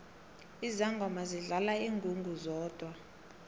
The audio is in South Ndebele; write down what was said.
izangoma zidlala ingungu zodwa